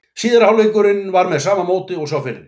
Síðari hálfleikurinn var með sama móti og sá fyrri.